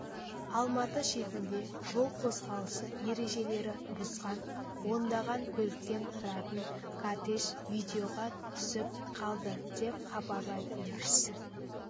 алматы шетінде жол қозғалысы ережелері бұзған ондаған көліктен тұратын кортеж видеоға түсіп қалды деп хабарлайды тілшісі